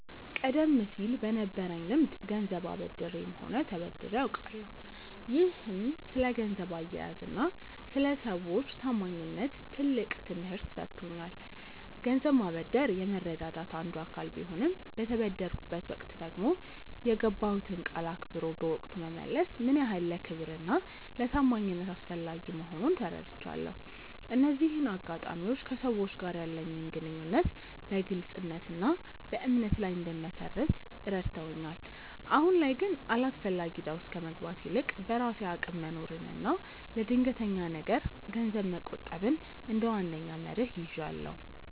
ቀደም ሲል በነበረኝ ልምድ ገንዘብ አበድሬም ሆነ ተበድሬ አውቃለሁ፤ ይህም ስለ ገንዘብ አያያዝና ስለ ሰዎች ታማኝነት ትልቅ ትምህርት ሰጥቶኛል። ገንዘብ ማበደር የመረዳዳት አንዱ አካል ቢሆንም፣ በተበደርኩበት ወቅት ደግሞ የገባሁትን ቃል አክብሮ በወቅቱ መመለስ ምን ያህል ለክብርና ለታማኝነት አስፈላጊ መሆኑን ተረድቻለሁ። እነዚህ አጋጣሚዎች ከሰዎች ጋር ያለኝን ግንኙነት በግልጽነትና በእምነት ላይ እንድመሰርት ረድተውኛል። አሁን ላይ ግን አላስፈላጊ እዳ ውስጥ ከመግባት ይልቅ፣ በራሴ አቅም መኖርንና ለድንገተኛ ነገር ገንዘብ መቆጠብን እንደ ዋነኛ መርህ ይዣለሁ።